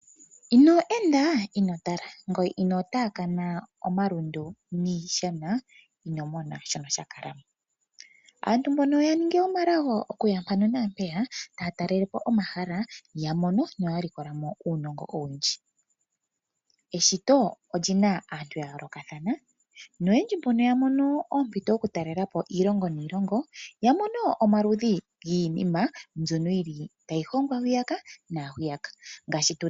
Ino enda ino tala. Ino taakana omalundu niishana ino mona shoka sha kala mo. Aantu ya ningi wo omalago okuya mpeya naampeya taya tala omahala ya mono noya likola mo uunogo owundji. Eshito ondjina aantu ya yolokathana. Noyendji mbono ya mono ompito oku talelapo iilongo niilongo ya mono omaludhi giinima mbyono tayi hongwa hwiya na hwiyaka.